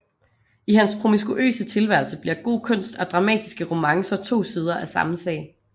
I hans promiskuøse tilværelse bliver god kunst og dramatiske romancer to sider af samme sag